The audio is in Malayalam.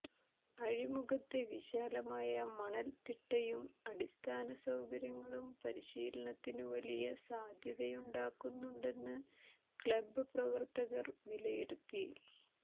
അഴിമുഖത്തെ വിശാലമായ മണൽത്തിട്ടയും അടിസ്ഥാന സൌകര്യങ്ങളും പരിശീലനത്തിന് വലിയ സാധ്യതയുണ്ടാക്കുന്നുണ്ടെന്ന് ക്ലബ്ബ് പ്രവർത്തകർ വിലയിരുത്തി